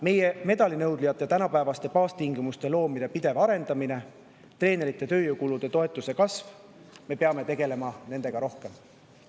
Meie medalinõudlejatele tänapäevaste baastingimuste loomine ja nende pidev arendamine, treenerite tööjõukulu toetuse kasv – me peame nende teemadega rohkem tegelema.